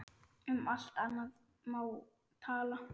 Um allt annað má tala.